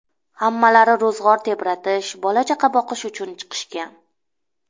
Hammalari ro‘zg‘or tebratish, bola-chaqa boqish uchun chiqishgan.